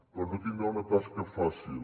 però no tindrà una tasca fàcil